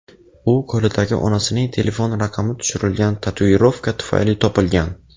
U qo‘lidagi onasining telefon raqami tushirilgan tatuirovka tufayli topilgan.